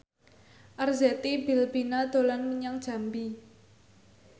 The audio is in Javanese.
Arzetti Bilbina dolan menyang Jambi